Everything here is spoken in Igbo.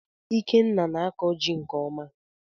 Ikenna na-akọ jị nke ọma